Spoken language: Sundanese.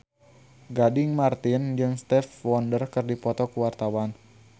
Gading Marten jeung Stevie Wonder keur dipoto ku wartawan